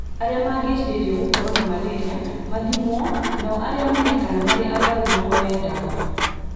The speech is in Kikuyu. Arĩa mangĩcirĩrio gũkorũo na malaria mathimwo nao arĩa moneka marĩ arwaru mahoe dawa